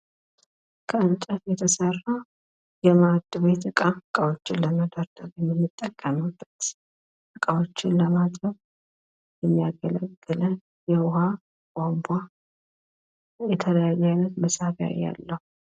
ከእንጨት የተሰራ የማእድ ቤት እቃ፣ እቃወችን ለመደርደር የምንጠቀምበት፣ እቃዎችን ለማጠብ የሚያገለግለን የዉሃ ቧንቧ፣ የተለያዩ አይነት መሳቢያ ያለው።